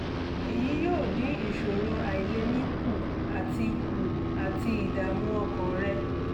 èyí yóò dín ìṣòro àìlèmí kù àti kù àti ìdààmú ọkàn rẹ